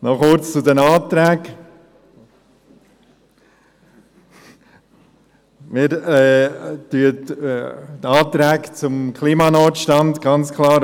Noch kurz zu den Anträgen: Wir unterstützen die Anträge zum Klimanotstand ganz klar.